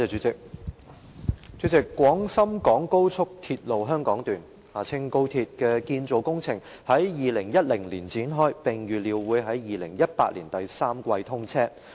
主席，廣深港高速鐵路香港段的建造工程於2010年展開，並預料會於2018年第三季通車。